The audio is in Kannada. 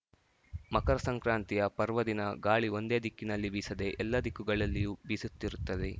ಮಕರ ಸಂಕ್ರಾಂತಿಯ ಪರ್ವದಿನ ಗಾಳಿ ಒಂದೇ ದಿಕ್ಕಿನಲ್ಲಿ ಬೀಸದೆ ಎಲ್ಲ ದಿಕ್ಕುಗಳಲ್ಲಿಯೂ ಬೀಸುತ್ತಿರುತ್ತದೆ